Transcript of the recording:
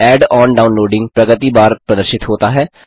add on downloading प्रगति bar प्रदर्शित होता है